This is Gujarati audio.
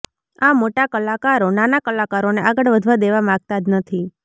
આ મોટા કલાકારો નાના કલાકારોને આગળ વધવા દેવા માગતા જ નથી